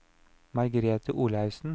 Margrethe Olaussen